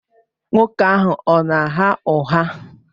Nwoke ahụ ọ na-agha ụgha?